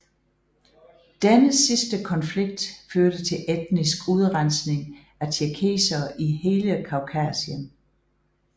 Denne sidste konflikt førte til etnisk udrensning af tjerkessere i hele Kaukasien